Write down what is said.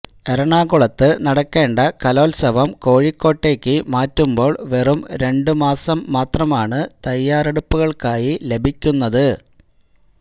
എറണാകുളത്ത് നടക്കേണ്ട കലോത്സവം കോഴിക്കോട്ടേക്ക് മാറ്റുമ്പോള് വെറും രണ്ട് മാസം മാത്രമാണ് തയ്യാറെടുപ്പുകള്ക്കായി ലഭിക്കുന്നത്